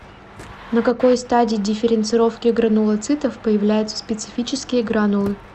на какой стадии дифференцировки гранулоцитов появляются специфические гранулы